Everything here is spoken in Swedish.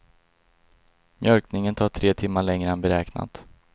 Mjölkningen tar tre timmar längre än beräknat.